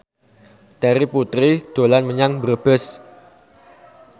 Terry Putri dolan menyang Brebes